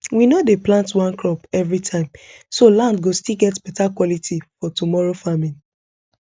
we no dey plant one crop everytime so land go still get beta quality for tomorrow farming